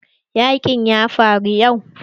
Yaƙin ya fara yau.